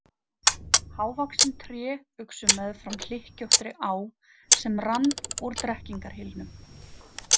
Hávaxin tré uxu meðfram hlykkjóttri á sem rann úr drekkingarhylnum.